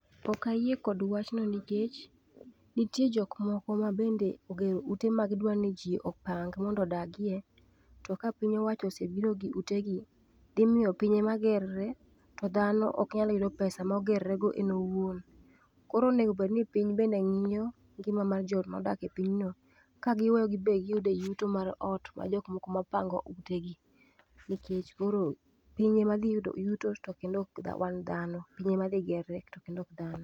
Ok ayie kod wachno nikech nitie jok moko mabende ogero ute ma gidwa ni ji opang mondo odagie. To ka piny owacho osebiro gi utegi, dhi miyo piny ema ger re to dhano ok nyal yudo pesa moger rego en owuon. Koro onego obed ni piny bende ng'iyo ngima mar jok modak e piny no, ka giweyo gin bende giyude yuto mar ot mag jok moko mopango utegi nikech koro, piny ema dhi yudo yuto to ok wang' dhano, piny ema dhi yier re to kendo ok dhano.